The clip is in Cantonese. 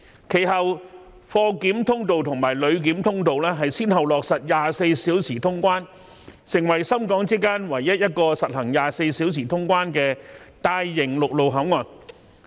其後，貨檢通道和旅檢通道先後落實24小時通關，成為深港之間唯一一個實行24小時通關的大型陸路口岸。